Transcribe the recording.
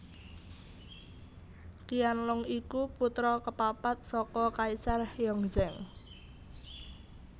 Qianlong iku putra kapapat saka Kaisar Yongzheng